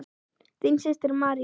Þín systir, María.